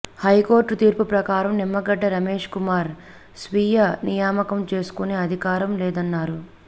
high court తీర్పు ప్రకారం నిమ్మగడ్డ రమేష్కుమార్ స్వీయ నియామకం చేసుకునే అధికారం లేదన్నారు